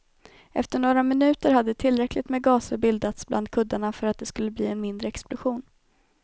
Efter några minuter hade tillräckligt med gaser bildats bland kuddarna för att det skulle bli en mindre explosion.